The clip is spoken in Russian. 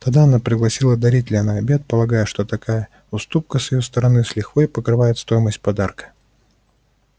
тогда она пригласила дарителя на обед полагая что такая уступка с её стороны с лихвой покрывает стоимость подарка